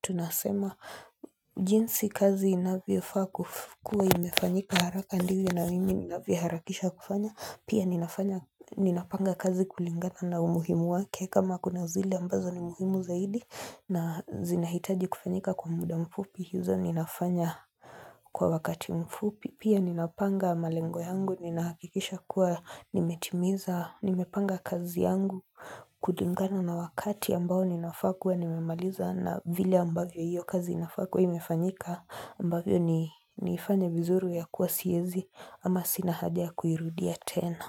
tunasema jinsi kazi inavyo faa kua imefanyika haraka ndivyo na mimi ninavyo harakisha kufanya Pia ninapanga kazi kulingata na umuhimu wake kama kuna zile ambazo ni muhimu zaidi na zinahitaji kufanyika kwa muda mfupi hizo ninafanya kwa wakati mfupi Pia ninapanga malengo yangu, ninahakikisha kua nimetimiza, nimepanga kazi yangu, kulingana na wakati ambao ninafaa kua, nimemaliza na vile ambavyo hiyo kazi inafaa kua imefanyika, ambavyo niifanye vizuri ya kuwa siwezi ama sina haja ya kuirudia tena.